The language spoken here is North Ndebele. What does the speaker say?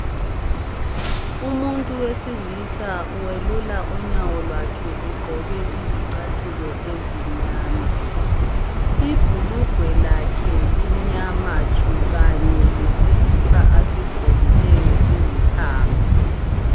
Umuntu wesilisa welula unyawo lwakhe egqoke izicathulo ezimnyama .Ibhulugwe lakhe limnyama tshu kanye lesikipa asigqokileyo silithanga.